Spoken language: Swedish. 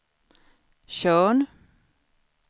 Tjörn